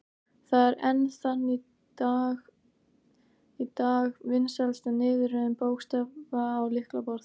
Það er enn þann dag í dag vinsælasta niðurröðun bókstafa á lyklaborð.